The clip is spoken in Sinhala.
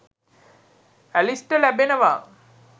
ඇලිස්ට ලැබෙනවා.